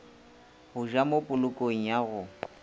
go ja mopolokong ya go